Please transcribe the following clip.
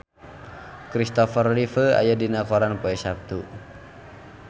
Kristopher Reeve aya dina koran poe Saptu